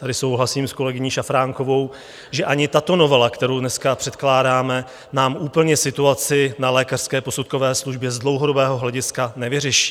Tady souhlasím s kolegyní Šafránkovou, že ani tato novela, kterou dneska předkládáme, nám úplně situaci na lékařské posudkové službě z dlouhodobého hlediska nevyřeší.